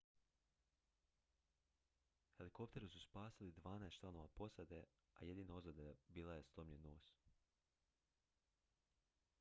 helikopteri su spasili dvanaest članova posade a jedina ozljeda bio je slomljen nos